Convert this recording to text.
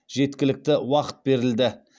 жеткілікті уақыт берілді